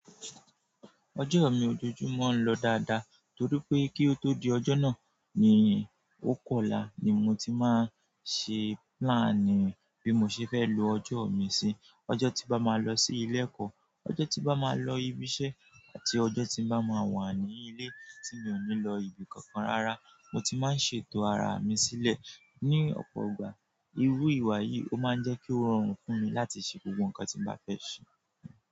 Ọjọ́ mi ojoojúmọ́ ń lọ dáadáa torí pé kí o tó di ọjọ́ náà ni, ó kọ̀la ni mo ti máa ṣe plan bí mo ṣe fẹ́ lo ọjọ́ mi sí. Ọjọ́ tí bá máa lọ sí ilé ẹ̀kọ́, ọjọ́ tí bá máa lọ ibi iṣẹ́ àti ọjọ́ tí bá máa wà ní ilé tí mi ò ní lọ ibi kankan rárá, mo ti máa ń ṣètò ara mi sílẹ̀. Ni ọ̀pọ̀ ọgbà, irú ìwà yìí ó máa ń jẹ́ kí ó rọrùn fún mi láti ṣe gbogbo nǹkan tí mo bá fẹ́ ṣe.